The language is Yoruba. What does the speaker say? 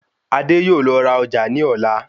Adé yóò lọ ra ọjà ní ọ̀la